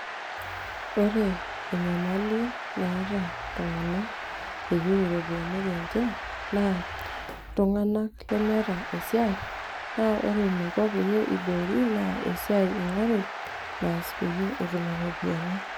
ore enyamali naata iltung'anak eyieu iropiyianik enche naa iltung'anak lemeeta esiai naa ore eniko pee eiboori naa esiai ing'oru naas peyie etum iropiyiani.